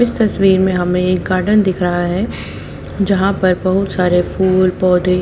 इस तस्वीर में हमें एक गार्डन दिख रहा है जहां पर बहुत सारे फूल पौधे--